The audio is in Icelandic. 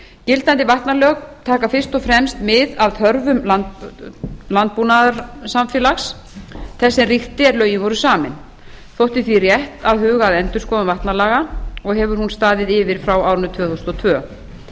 gildandi vatnalög taka fyrst og fremst mið af þörfum landbúnaðarsamfélags þess sem ríkti er lögin voru samin þótti því rétt að huga að endurskoðun vatnalaga og hefur hún staðið yfir frá árinu tvö þúsund og tvö